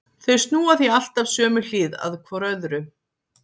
Þau snúa því alltaf sömu hlið að hvor öðru.